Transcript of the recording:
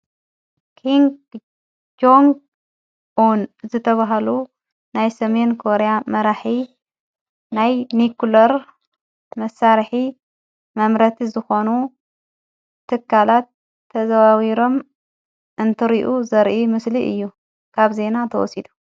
ኪን ጀንግ ን ዘተብሃሉ ናይ ሰሜን ኮርያ መራሕ ናይ ኒኮለር መሣርኂ መምረቲ ዝኾኑ ትካላት ተዘዋዊሮም እንትርኡ ዘርኢ ምስሊ እዩ ካብ ዜና ተወሲዱ።